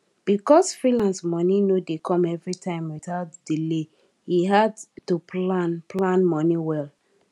because freelance money no dey come everytime without delaye hard to plan plan money well